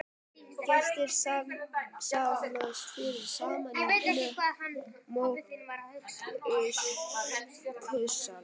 Gestir safnast fyrst saman í móttökusal.